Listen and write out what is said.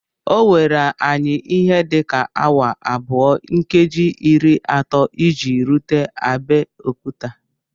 O were anyi ihe dị ka awa abụọ nkeji iri atọ iji rute Abeokuta